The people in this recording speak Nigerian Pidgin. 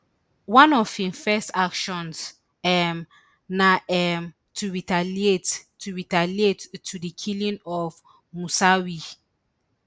one of im first actions um na um to retaliate to retaliate to di killing of musawi